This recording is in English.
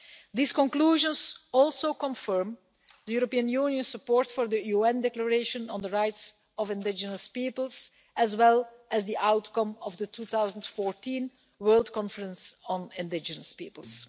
These conclusions also confirm the European Union's support for the UN Declaration on the Rights of Indigenous Peoples, as well as the outcome of the 2014 World Conference on Indigenous Peoples.